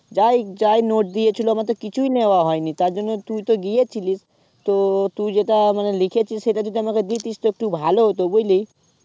যাই যাই note দিয়েছিলো আমার তো কিছুই নেওয়া হয়নি তার জন্য তুই তো গিয়েছিলিস তো তুই যেটা মানে লিখেছিলিস সেটা যদি আমাকে দিতিস তো একটু ভালো হতো বুঝলি